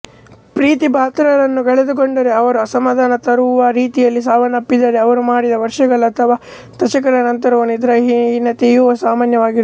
ಪ್ರೀತಿಪಾತ್ರರನ್ನು ಕಳೆದುಕೊಂಡರೆ ಅವರು ಅಸಮಧಾನ ತರುವ ರೀತಿಯಲ್ಲಿ ಸಾವನ್ನಪ್ಪಿದ್ದರೆ ಅವರು ಮಡಿದ ವರ್ಷಗಳ ಅಥವಾ ದಶಕಗಳ ನಂತರವೂ ನಿದ್ರಾಹೀನತೆಯು ಸಾಮಾನ್ಯವಾಗಿರುತ್ತದೆ